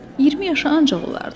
20 yaşı ancaq olardı.